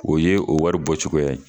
O ye o wari bɔ cogoya ye.